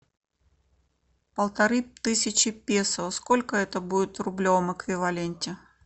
полторы тысячи песо сколько это будет в рублевом эквиваленте